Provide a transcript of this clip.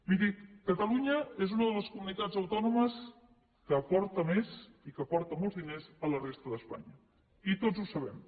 miri catalunya és una de les comunitats autònomes que aporta més i que aporta molts diners a la resta d’espanya i tots ho sabem